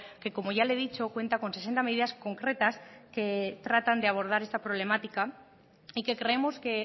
que como ya le he dicho cuenta con sesenta medidas concretas que tratan de abordar esta problemática y que creemos que